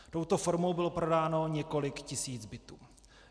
Touto formou bylo prodáno několik tisíc bytů.